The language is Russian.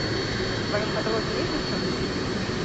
в твоем каталоге есть девчонки